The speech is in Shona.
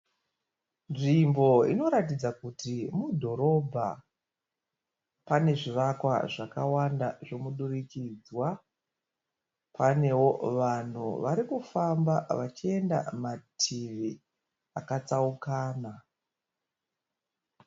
Nzvimbo inoratidza kuti mudhorobha. Pane zvivakwa zvakawanda zvemudirikidzwa. Paneo vanhu varikufamba vachienda mativi akatsaukana.